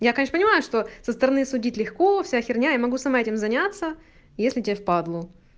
я конечно понимаю что со стороны судить легко вся херня я могу сама этим заняться если тебе в падлу